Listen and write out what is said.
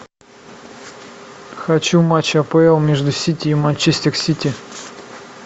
хочу матч апл между сити и манчестер сити